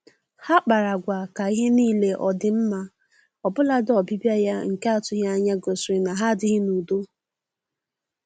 Ha kpara agwa ka ihe niile ọ dị mma, ọbụladị ọbịbịa ya nke atụghị anya gosiri na ha adịghị n'udo